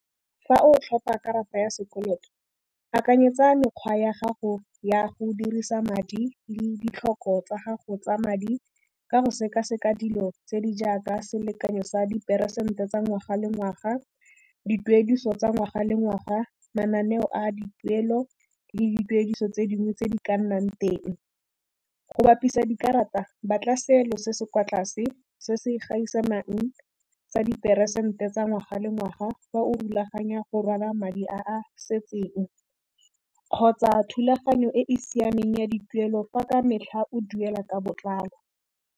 Fa o tlhopa karata ya sekoloto akanyetsa mekgwa ya gago ya go dirisa madi le ditlhoko tsa gago tsa madi ka go sekaseka dilo tse di jaaka selekanyo sa diperesente tsa ngwaga le ngwaga, dituediso tsa ngwaga le ngwaga, mananeo a dituelo le dituediso tse dingwe tse di ka nnang teng. Go bapisa dikarata ba tla selo se se kwa tlase se se gaisanang sa diperesente tsa ngwaga le ngwaga fa o rulaganya go rwala madi a setseng, kgotsa thulaganyo e e siameng ya dituelo fa ka metlha o duela ka botlalo.